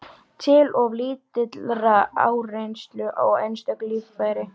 til of lítillar áreynslu á einstök líffæri.